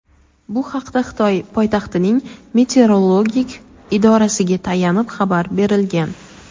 Bu haqda Xitoy poytaxtining meteorologik idorasiga tayanib xabar berilgan.